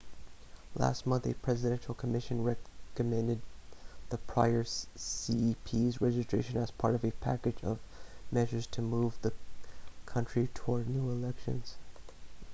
last month a presidential commission recommended the prior cep's resignation as part of a package of measures to move the country towards new elections